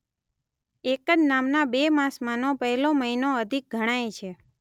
એક જ નામના બે માસમાંનો પહેલો મહિનો અધિક ગણાય છે.